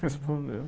Respondeu.